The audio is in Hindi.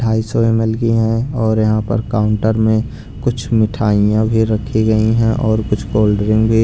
ढाई सो एमएल की है और यहां पर काउंटर में कुछ मिठाइयां भी रखी गई हैं और कुछ कोल्ड्रिंक भी--